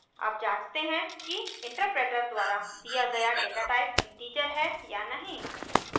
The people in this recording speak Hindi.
अब जाँचते हैं कि इंटरप्रेटर द्वारा दिया गया डेटाटाइप इंटीजर है या नहीं